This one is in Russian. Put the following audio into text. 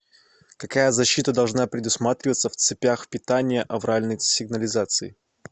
какая защита должна предусматриваться в цепях питания авральной сигнализации